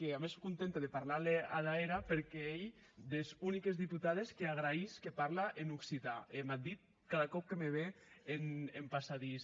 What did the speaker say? e a mès sò contenta de parlar le ada era perque ei des uniques deputades qu’arregraís que parla en occitan e m’ac ditz cada còp que me ve en passadís